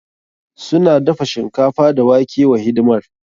Suna dafa shinkafa da wake wa hidimar.